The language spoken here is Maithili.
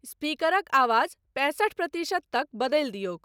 स्पीकरक आवाज पैंसठ प्रतिशत तक बदलि दियौक।